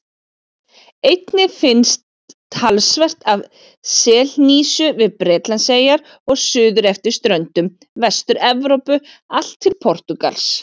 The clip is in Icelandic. Einnig finnst talsvert af selhnísu við Bretlandseyjar og suður eftir ströndum Vestur-Evrópu allt til Portúgals.